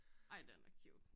Ej den er cute